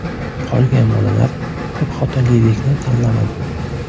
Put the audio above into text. Qolgan bolalar ko‘pxotinlilikni tanlamadi.